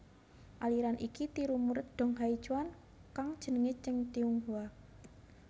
Aliran iki tiru murid Dong Haichuan kang jenenge Cheng Tinghua